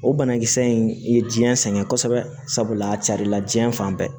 O banakisɛ in i ye jiyɛn sɛgɛn kosɛbɛ sabula a carila diɲɛ fan bɛɛ